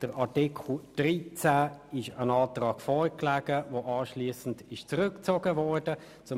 Bei Artikel 13 lag ein Antrag vor, der anschliessend zurückgezogen worden ist.